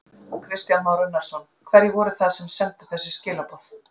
Kristján Már Unnarsson: Hverjir voru það sem sendu þessi skilaboð?